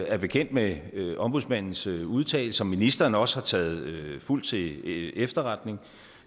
er bekendt med ombudsmandens udtalelse som ministeren også har taget fuldt til efterretning